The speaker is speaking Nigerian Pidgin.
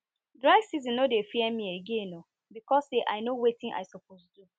dry season no dey fear me again o because say i know wetin i suppose do